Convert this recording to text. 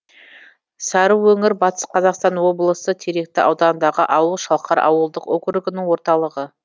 сарыөңір батыс қазақстан облысы теректі ауданындағы ауыл шалқар ауылдық округінің орталығы